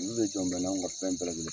Olu le jɔn bɛ n'an ka fɛn bɛɛ lajɛlen